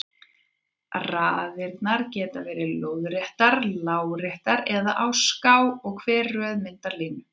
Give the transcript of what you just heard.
Raðirnar geta verið lóðréttar, láréttar eða á ská og hver röð myndar línu.